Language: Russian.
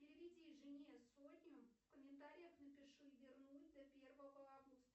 переведи жене сотню в комментариях напиши вернуть до первого августа